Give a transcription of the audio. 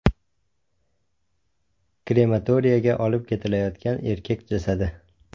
Krematoriyga olib ketilayotgan erkak jasadi.